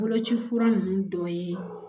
Boloci fura ninnu dɔ ye